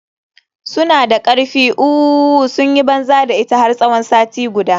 Suna da karfi ooo, sun yi banza da ita har tsawon sati guda.